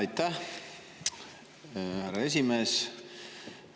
Aitäh, härra esimees!